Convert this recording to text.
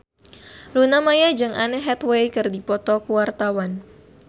Luna Maya jeung Anne Hathaway keur dipoto ku wartawan